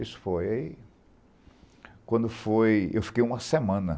Isso foi... Quando foi... Eu fiquei uma semana.